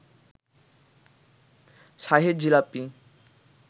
Shahi jalebi